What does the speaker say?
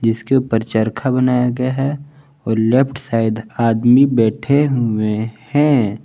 इसके ऊपर चरखा बनाया गया है और लेफ्ट साइड आदमी बैठे हुए हैं।